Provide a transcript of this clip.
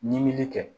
Ɲinili kɛ